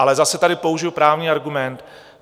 Ale zase tady použiji právní argument.